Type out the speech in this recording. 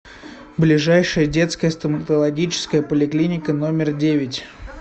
ближайший детская стоматологическая поликлиника номер девять